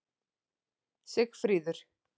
Sigfríður